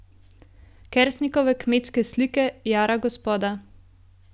Kersnikove Kmetske slike, Jara gospoda.